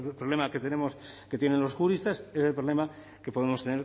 problema que tenemos que tienen los juristas es el problema que podemos